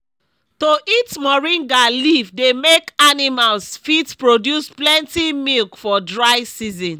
to eat moringa leave dey make animals fit produce plenty milk for dry season